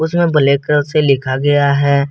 उसमें black colour से लिखा गया है।